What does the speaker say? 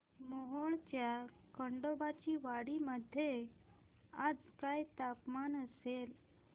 मोहोळच्या खंडोबाची वाडी मध्ये आज काय तापमान असेल